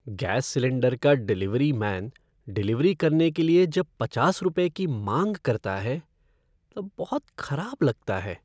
Gas cylinder का delivery man delivery करने के लिए जब पचास रुपये की मांग करता है तब बहुत खराब लगता है।